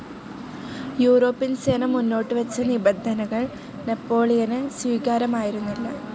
European സേന മുന്നോട്ടുവച്ച നിബന്ധനകൾ നെപ്പോളിയന് സ്വീകാര്യമായിരുന്നില്ല.